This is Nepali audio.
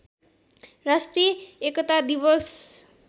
राष्ट्रिय एकता दिवस